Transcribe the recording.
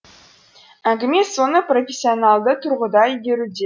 әңгіме соны профессионалды тұрғыда игеруде